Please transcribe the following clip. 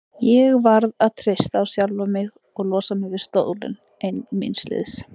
Ég varð að treysta á sjálfa mig og losa mig við stólinn ein míns liðs.